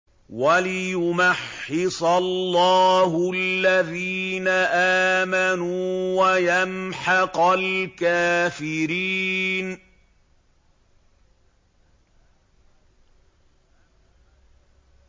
وَلِيُمَحِّصَ اللَّهُ الَّذِينَ آمَنُوا وَيَمْحَقَ الْكَافِرِينَ